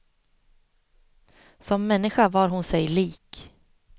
Som människa var hon sig lik.